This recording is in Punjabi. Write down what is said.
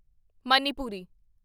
ਮਨੀਪੁਰੀ